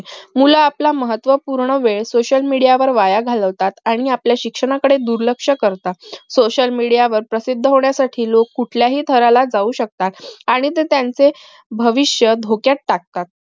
मुलं आपला महत्व पूर्ण वेळ social media वर वाया घालवतात आणि आपल्या शिक्षणाकडे दुर्लक्ष करतात social media वर प्रसिद्ध होण्यासाठी लोक कोठल्याहि थराला जाऊ शकतात आणि ते त्यांचे भविष्य धोक्यात टाकतात